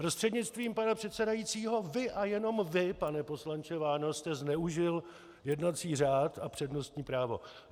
Prostřednictvím pana předsedajícího vy a jenom vy, pane poslanče Váňo, jste zneužil jednací řád a přednostní právo.